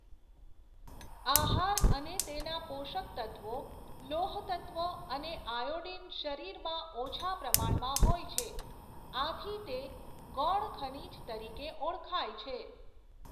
આહાર અને તેના પોષક તત્ત્વો લોહતત્ત્વ અને આયોડીન શરીરમાં ઓછા પ્રમાણમાં હોય છે આથી તે ગૌણ ખનિજ તરીકે ઓળખાય છે.